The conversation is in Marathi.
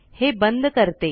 हे बंद करते